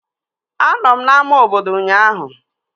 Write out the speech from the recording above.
Anọ m n'ámá obodo ụnyaahụ